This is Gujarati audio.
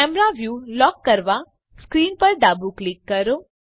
કેમેરા વ્યુ લોક કરવા સ્ક્રીન પર ડાબું ક્લિક કરો